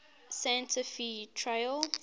santa fe trail